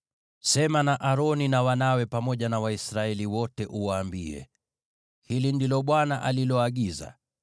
“Sema na Aroni na wanawe, pamoja na Waisraeli wote, uwaambie: ‘Hili ndilo Bwana aliloagiza: